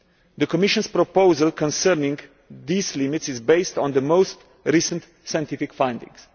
The Commission's proposal concerning these limits is based on the most recent scientific findings.